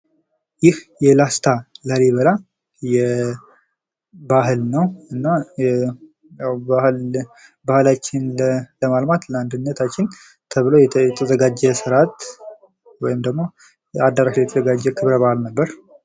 ይህ የላስታ ላሊበላ ባህል ነው ። እና ባህላችን ለማልማት ለአንድነታችን ተብሎ የተዘጋጀ ስራት ወይም ደግሞ አዳራሽ ላይ የተዘጋጀ ክብረ በዓል ነበር ።